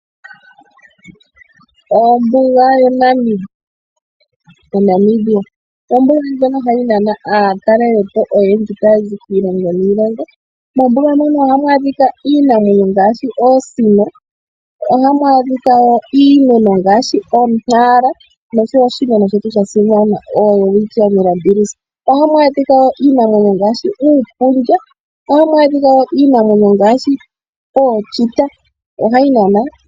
Ombuga ya Namibia oyo ombuga ndjoka hayi nana aatalelipo oyendji taya zi kiilongo niilongo. Mombuga mono ohamu adhika iinamwenyo ngaashi oosino, ohamu adhika wo iimeno ngaashi o!Nara noshowo oshimeno shetu sha simana oWelwitchia mirrabilis. Ohamu adhika wo iinamwenyo ngaashi uupundja. Ohamu adhika wo iinamwenyo oongwe.